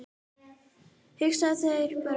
Hugsaðu þér bara